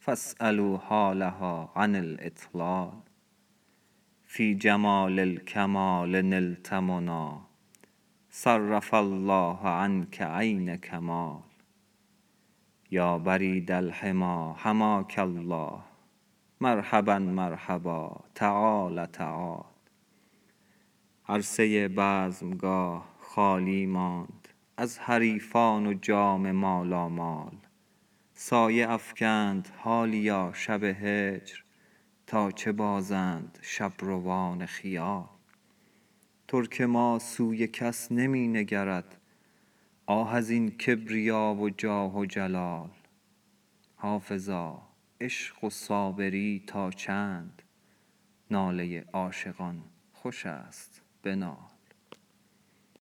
فاسألوا حالها عن الاطلال فی جمال الکمال نلت منی صرف الله عنک عین کمال یا برید الحمی حماک الله مرحبا مرحبا تعال تعال عرصه بزمگاه خالی ماند از حریفان و جام مالامال سایه افکند حالیا شب هجر تا چه بازند شبروان خیال ترک ما سوی کس نمی نگرد آه از این کبریا و جاه و جلال حافظا عشق و صابری تا چند ناله عاشقان خوش است بنال